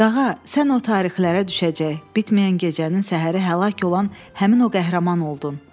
Qağa, sən o tarixlərə düşəcək, bitməyən gecənin səhəri həlak olan həmin o qəhrəman oldun.